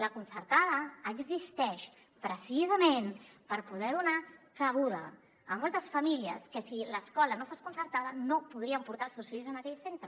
la concertada existeix precisament per poder donar cabuda a moltes famílies que si l’escola no fos concertada no podrien portar els seus fills a aquell centre